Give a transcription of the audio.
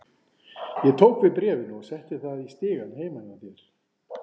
Ég tók við bréfinu og setti það í stigann heima hjá þér.